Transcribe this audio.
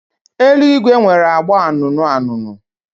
Eluigwe nwere agba anụnụ anụnụ.